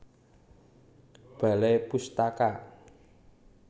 Balai Pustaka